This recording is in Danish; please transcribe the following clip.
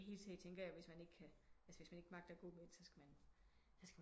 I hele taget tænker jeg hvis man ikke kan altså hvis man ikke magter at gå men den så skal man